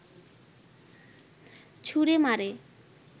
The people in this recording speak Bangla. ছুড়ে মারে